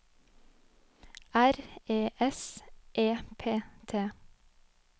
R E S E P T